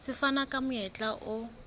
se fana ka monyetla o